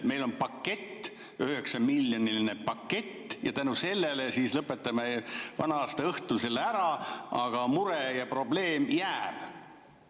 Meil on pakett, 9‑miljoniline pakett, ja tänu sellele me lõpetame selle vana-aastaõhtul ära, aga mure ja probleem jääb.